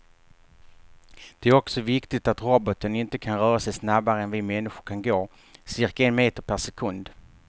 Det är också viktigt att roboten inte kan röra sig snabbare än vi människor kan gå, cirka en meter per sekund.